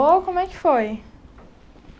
Como é que foi?